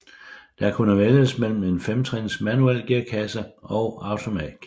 Der kunne vælges mellem en femtrins manuel gearkasse og automatgear